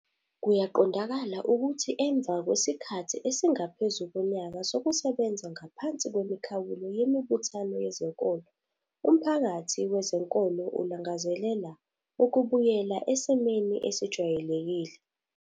Kuyaqondakala ukuthi emva kwesikhathi esingaphezu konyaka sokusebenza ngaphansi kwemikhawulo yemibuthano yezenkolo umphakathi wezenkolo ulangazelela ukubuyela esimeni esijwayelekile.